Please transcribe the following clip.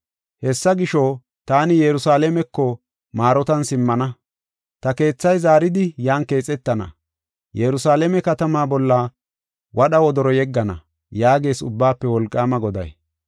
Hessa gisho, taani Yerusalaameko maarotan simmana; ta keethay zaaridi yan keexetana; Yerusalaame katama bolla wadha wodoro yeggana” yaagees Ubbaafe Wolqaama Goday.